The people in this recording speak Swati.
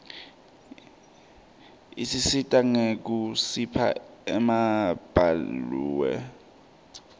isisita nyekusipha emabalaue